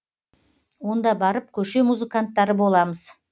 онда барып көше музыканттары боламыз